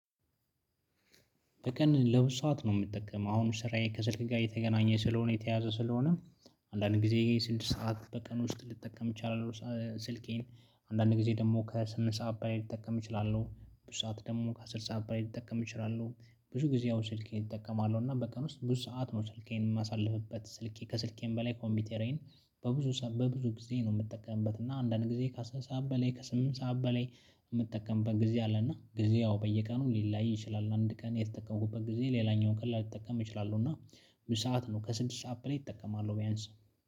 በቀን ለሁለት ሰዓት ነው የምጠቀመው አሁን ስራዬ ከስልክ ጋር የተገናኘ ስለሆነ የተያዘ ስለሆነ። አንዳንድ ጊዜ ስድስት ሰዓት በቀን ውስጥ ልጠቀም ይችላል ስልኬን አንዳንዴ ጊዜ ደግሞ ከስምንት ሰዓት ብላይ ልጠቀም እችላለሁ። ብዙ ሰዓት ደግሞ ከስድስት ሰዓት በላይ ልጠቀም እችላለሁ። ብዙ ጊዜ ያ ስልኬን እጠቀማለሁ እና በቀን ውስጥ ብዙ ሰዓት ነው ስልኬን የማሳልፍበት። ስልኬ ከስልኬም በላይ ኮምፒውተሬን በብዙ በብዙ ጊዜ ነው የምጠቀምበት። እና አንዳንድ ጊዜ ከስምንት ሰዓት በላይ ከስምንት ሰዓት በላይ የምጠቀምበት ጊዜ አለ። እና ጊዜ ያው በየቀኑ ሊለያይ ይችላል። አንድ ቀን የተጠቀምኩበት ጊዜ ሌላኛውን ቀን ላልጠቀም እችላለሁ። እና ክሁለት ሰዓት ነው ከስድስት ሰዓት ብለው እጠቀማለሁ ቢያንስ